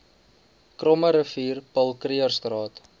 krommerivier paul krugerstraat